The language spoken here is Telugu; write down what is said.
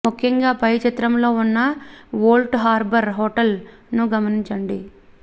ముఖ్యంగా పై చిత్రంలో ఉన్న ఓల్డ్ హార్బర్ హోటల్ ను గమనించండి